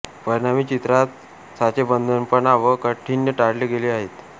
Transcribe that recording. परिणामी चित्रात साचेबंदपणा व काठीण्य टाळले गेले आहे